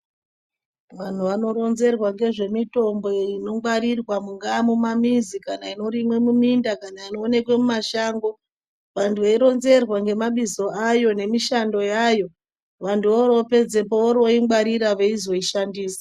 Vanhu vanoronzerwa ngezvemitombo nekungwarirwa mungaa mumamizi kana inorimwe muminda kana inoonekwa mumashango vantu veironzerwa ngemabizo ayo nemishando yayo vantu vorovopedzepo vorovoingwarira veizoishandisa.